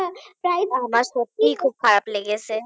prize আমার সত্যিই খুব খারাপ লেগেছে